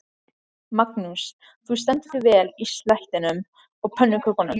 Magnús: Þú stendur þig vel í slættinum og pönnukökunum?